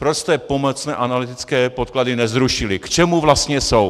Proč jste pomocné analytické podklady nezrušili, k čemu vlastně jsou?